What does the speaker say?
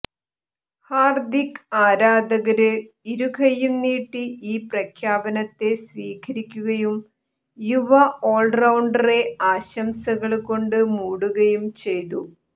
ഹാര്ദിക് ആരാധകര് ഇരുകയ്യും നീട്ടി ഈ പ്രഖ്യാപനത്തെ സ്വീകരിക്കുകയും യുവ ഓള്റൌണ്ടറെ ആശംസകള് കൊണ്ട് മൂടുകയും ചെയ്തു